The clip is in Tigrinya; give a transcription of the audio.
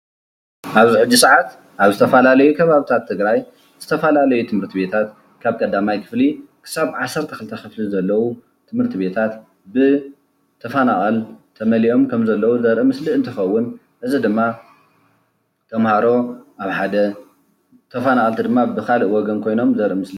አብዚ ሐጂ ሰዓት ኣብ ዝተፈላለዩ ኸባብታት ትግራይ ዝተፈላለዩ ትምህርትቤታት ካብ ቀዳማይ ክፍሊ ክሳብ ዓሰርተ ኽልተ ኽፍሊ ዘለው ትምህርትቤታት ብተፈናቀል ተመሊኦም ኸሞ ዘለው ዘርኢ ምስሊ እንትከውን እዚ ድማ ተምሃሮ ኣብ ሓደ ተፈናቀልቲ ድማ ብካሊእ ወገን ዘርኢ ምስሊ እዩ።